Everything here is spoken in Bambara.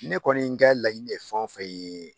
Ne kɔni ka laɲini ye de fɛn o fɛn ye